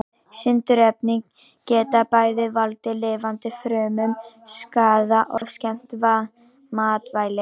Sindurefni geta bæði valdið lifandi frumum skaða og skemmt matvæli.